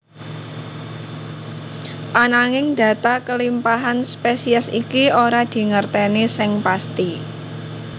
Ananging data kelimpahan spesies iki ora dingerteni seng pasti